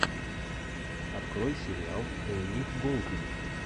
открой сериал элли голдинг